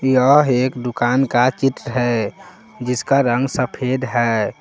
यह एक दुकान का चित्र है जिसका रंग सफेद है।